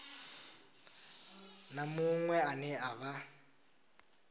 na muṅwe ane a vha